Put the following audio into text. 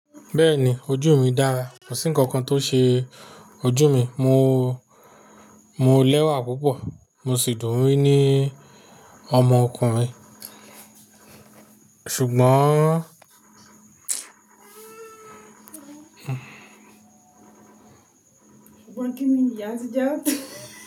Bẹ́ẹ̀ni ojú mi dára, kò sí nǹkan kan tó ṣe ojú mi. Mo, mo lẹ́wà púpọ̀, mo sì dùn mí ní ọmọkùnrin. Ṣùgbọ́n Ṣùgbọ́n kín ní ìyá tí je o?